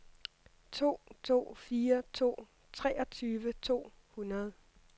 to to fire to treogtyve to hundrede